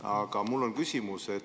Aga mul on küsimus.